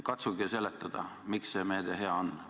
Katsuge seletada, miks see meede hea on.